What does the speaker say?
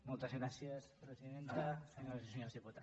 moltes gràcies presidenta senyores i senyors diputats